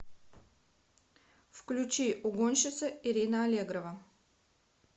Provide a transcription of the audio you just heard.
включи угонщица ирина аллегрова